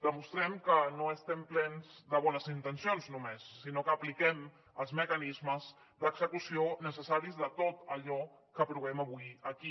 demostrem que no estem plens de bones intencions només sinó que apliquem els mecanismes d’execució necessaris de tot allò que aprovem avui aquí